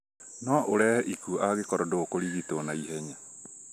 No ũrehe ikuũ angĩkorwo ndũkũrigitwo naihenya.